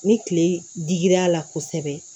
Ni kile digir'a la kosɛbɛ